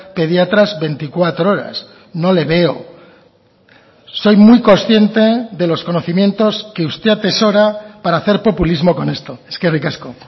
pediatras veinticuatro horas no le veo soy muy consciente de los conocimientos que usted atesora para hacer populismo con esto eskerrik asko